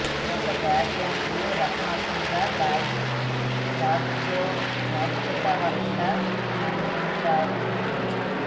ఒక వాక్యంబు రసాత్మకం బయిన కావ్యోత్కర్ష నందంచు బూ